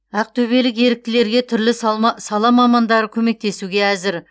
ақтөбелік еріктілерге түрлі сала мамандары көмектесуге әзір